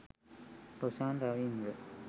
Roshan Ravindra